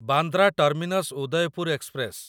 Bandra terminus Udaipur express